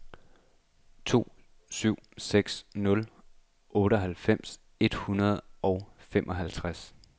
to syv seks nul otteoghalvfems et hundrede og femoghalvtreds